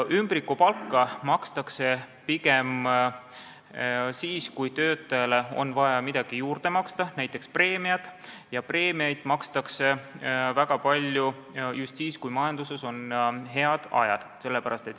Ümbrikupalka makstakse pigem siis, kui töötajale on vaja midagi juurde maksta, näiteks preemiat, ja preemiaid makstakse väga palju just siis, kui majanduses on head ajad.